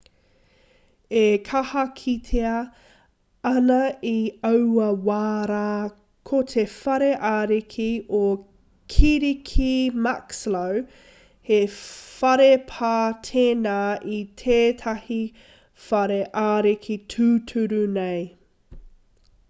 e kaha kitea ana i aua wā rā ko te whare ariki o kirike muxloe he whare pā tēnā i tētahi whare ariki tūturu nei